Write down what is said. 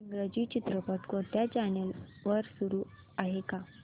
इंग्रजी चित्रपट कोणत्या चॅनल वर चालू आहे का